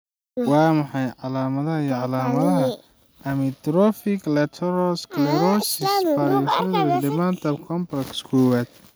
Waa maxay calaamadaha iyo calaamadaha Amyotrophic lateral sclerosis parkinsonism/dementia complex kowad?